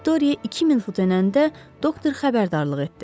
Viktoriya 2000 fut enəndə doktor xəbərdarlıq etdi.